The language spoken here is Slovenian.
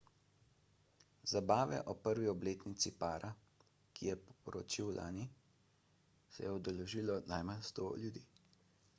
zabave ob prvi obletnici para ki se je poročil lani se je udeležilo najmanj 100 ljudi